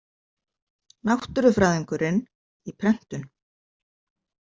Náttúrufræðingurinn, í prentun.